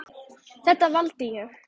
Þetta valdi ég.